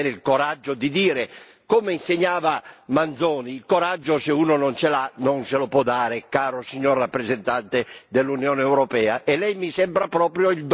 Come insegnava Manzoni, il coraggio se uno non ce l'ha non se lo può dare, caro rappresentante dell'Unione europea, e Lei mi sembra proprio il Don Abbondio della situazione.